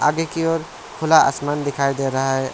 आगे की ओर खुला आसमान दिखाई दे रहा है।